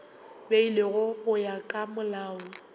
beilwego go ya ka molao